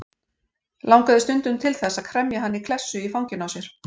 Langaði stundum til þess að kremja hana í klessu í fanginu á sér.